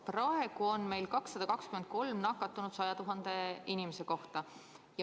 Praegu on meil 223 nakatunut 100 000 inimese kohta.